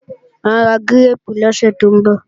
Mà á ra gírèèpù lọ́sẹ̀ tó ń bọ̀